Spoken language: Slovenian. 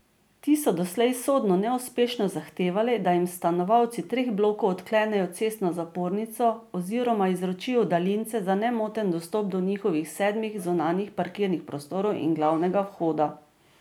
Ti so doslej sodno neuspešno zahtevali, da jim stanovalci treh blokov odklenejo cestno zapornico oziroma izročijo daljince za nemoten dostop do njihovih sedmih zunanjih parkirnih prostorov in glavnega vhoda.